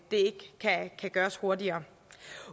kan gøres hurtigere